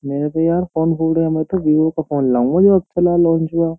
मेरा तो यार फोन भूल गया मैं तो विवो का फोन --